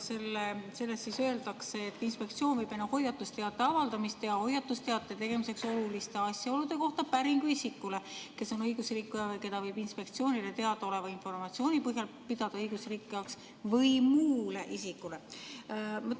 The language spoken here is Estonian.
Selles öeldakse, et inspektsioon võib enne hoiatusteate avaldamist teha hoiatusteate tegemiseks oluliste asjaolude kohta päringu isikule, kes on õigusrikkuja või keda võib inspektsioonile teadaoleva informatsiooni põhjal pidada õigusrikkujaks, või muule isikule.